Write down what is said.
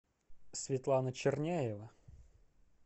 светлана черняева